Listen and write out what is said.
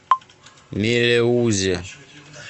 мелеузе